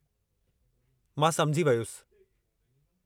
मां समुझी वयुसि।